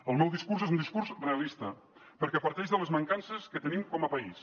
el meu discurs és un discurs realista perquè parteix de les mancances que tenim com a país